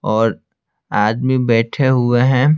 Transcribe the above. और आदमी बैठे हुए हैं।